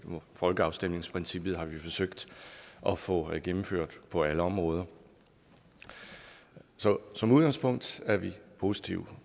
folkeafstemningsprincippet har vi forsøgt at få gennemført på alle områder så som udgangspunkt er vi positive